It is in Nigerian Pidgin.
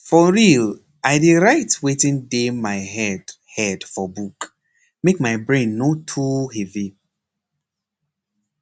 for real i dey write wetin dey my head head for book make my brain no too heavy